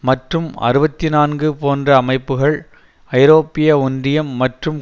மற்றும் அறுபத்தி நான்கு போன்ற அமைப்புகள் ஐரோப்பிய ஒன்றியம் மற்றும்